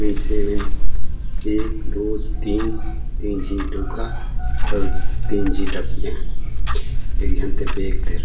वैसे ए मीन एक दो तीन -तीन झीन डऊका अऊ टीन झी डकिया एक झन ते बैग दे रहा--